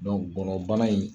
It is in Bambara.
Dɔnku gɔnɔnbana in